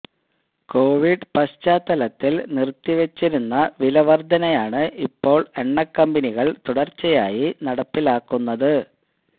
Covid പശ്ചാത്തലത്തില് നിർത്തിവെച്ചിരുന്ന വില വർധനയാണ് ഇപ്പോള് എണ്ണക്കമ്പനികള് തുടർച്ചയായി നടപ്പിലാക്കുന്നത്